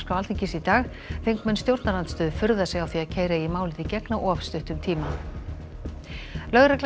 Alþingis í dag þingmenn stjórnarandstöðu furða sig á því að keyra eigi málið í gegn á of stuttum tíma lögregla